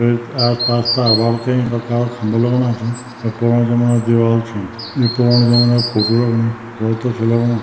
येक आस-पास तार बाड़ कईं काला खम्बा लगणा छिन और पुरणु जमना दीवाल छी यु पूरण जमना फोटो लगणी बहौत अच्छु लगणु।